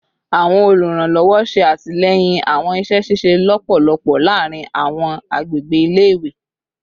Awọn oluranlọwọ ṣe atilẹyin awọn iṣẹ ṣiṣe lọpọlọpọ laarin awọn agbegbe ile-iwe